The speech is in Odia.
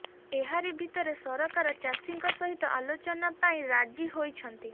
ଏହାରି ଭିତରେ ସରକାର ଚାଷୀଙ୍କ ସହିତ ଆଲୋଚନା ପାଇଁ ରାଜି ହୋଇଛନ୍ତି